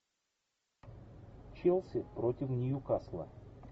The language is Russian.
челси против ньюкасла